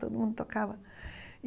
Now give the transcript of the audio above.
Todo mundo tocava.